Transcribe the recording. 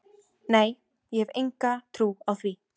Nei ég hef enga trú á því.